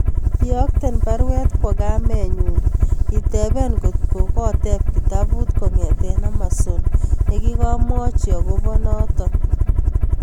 Iyokten baruet kwo kamenyun itebee kot ko koteb kitaput kongeten Amazon nigegamwachi agobo